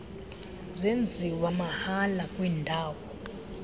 zenziwa mahala kwiindawo